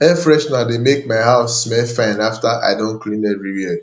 air freshener dey make my house smell fine after i don clean everywhere